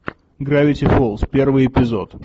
гравити фолз первый эпизод